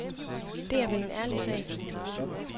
Det er vel en ærlig sag.